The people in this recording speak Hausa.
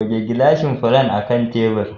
Goge gilashin furen akan tebur.